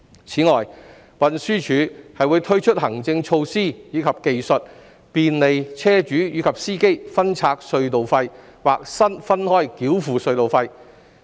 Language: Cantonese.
此外，運輸署會推出行政措施及技術，便利車主及司機分拆隧道費或分開繳付隧道費。